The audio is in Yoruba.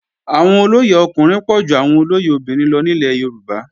Àwọn olóyè ọkùnrin pọ̀ ju àwọn olóyè obìnrin lọ nílẹ̀ Yorùbá